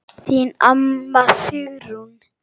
Þín amma, Sigrún.